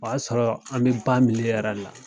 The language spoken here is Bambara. O y'a sɔrɔ an bɛ ba yɛrɛ la.